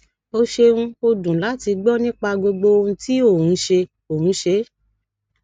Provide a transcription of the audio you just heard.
o ṣeun o dun lati gbọ nipa gbogbo ohun ti o n ṣe o n ṣe